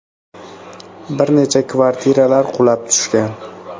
Bir necha kvartiralar qulab tushgan.